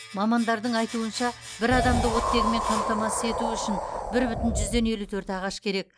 мамандардың айтуынша бір адамды оттегімен қамтамасыз ету үшін бір бүтін жүзден елу төрт ағаш қажет